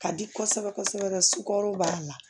Ka di kosɛbɛ kosɛbɛ sukaro b'a la